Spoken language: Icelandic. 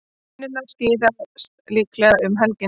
Línurnar skýrast líklega um helgina.